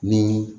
Ni